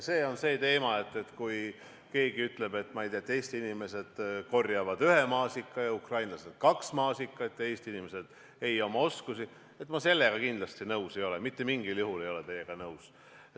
Kui keegi ütleb, ma ei tea, et Eesti inimesed korjavad ühe maasika ja ukrainlased kaks maasikat ja Eesti inimesed ei oma oskusi, siis ma sellega kindlasti nõus ei ole, mitte mingil juhul ei ole teiega nõus.